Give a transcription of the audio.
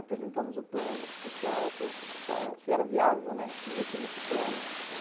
Apresentamos o plano para o pessoal, para ver se era viável, né, investir nesse plano.